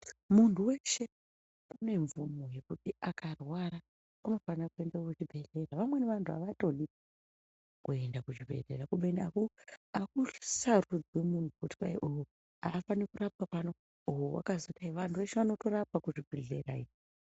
Muntu veshe unemvumo yekuti akarwara anofanire kuende kuchibhedhlera. Vamweni vantu havatodi kuenda kuzvibhedhlera. Kubeni hakusarudzwi vantu kuti uyu haafani kurapwa pano uye vakazodai vantu veshe vanotorapwa kuzvibhedhlera iyo.